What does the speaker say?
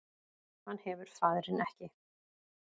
Hann hefur faðirinn ekki